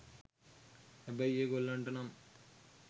හැබැයි ඒ ගොල්ලන්ට නම්